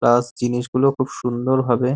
plus জিনিস গুলো খুব সুন্দর ভাবে --